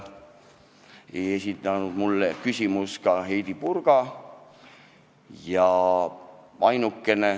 Ei esitanud mulle küsimust ka Heidy Purga.